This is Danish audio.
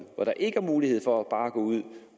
er ikke mulighed for bare at gå ud